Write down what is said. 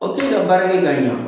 k'e ka baara kɛ ka ɲa